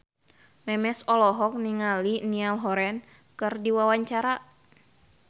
Memes olohok ningali Niall Horran keur diwawancara